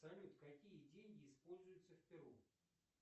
салют какие деньги используются в перу